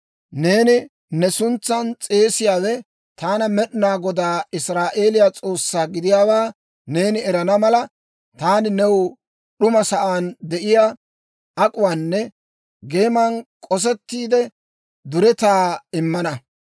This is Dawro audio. Neena ne suntsan s'eesiyaawe taana Med'inaa Godaa, Israa'eeliyaa S'oossaa gidiyaawaa neeni erana mala, taani new d'uma sa'aan de'iyaa ak'uwaanne geeman k'osettiide duretaa immana.